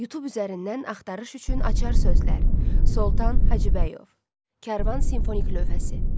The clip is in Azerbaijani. Youtube üzərindən axtarış üçün açar sözlər: Soltan Hacıbəyov, Karvan simfonik lövhəsi.